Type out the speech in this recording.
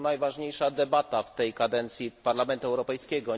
To najważniejsza debata w tej kadencji Parlamentu Europejskiego.